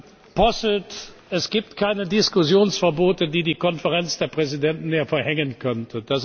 Herr Posselt! Es gibt keine Diskussionsverbote, die die Konferenz der Präsidenten verhängen könnte.